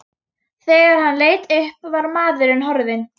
Þegar hann leit upp var maðurinn horfinn.